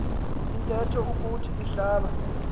ithethe ukuthi ihlaba